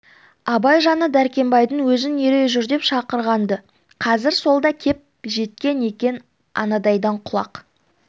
абай жаңа дәркембайдың өзін ере жүр деп шақырған-ды қазір сол да кеп жеткен екен анадайдан құлақ